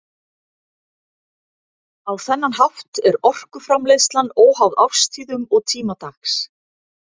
Á þennan hátt er orkuframleiðslan óháð árstíðum og tíma dags.